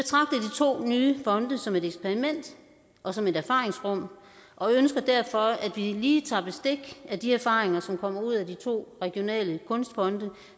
to nye fonde som et eksperiment og som et erfaringsrum og ønsker derfor at vi lige tager bestik af de erfaringer som kommer ud af de to regionale kunstfonde